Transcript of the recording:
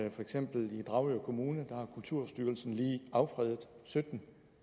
i for eksempel dragør kommune har kulturstyrelsen lige affredet sytten